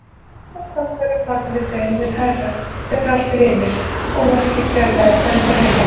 Og þá verður fallið þeim mun hærra þegar allt hrynur og markmiðið fjarlægist enn frekar.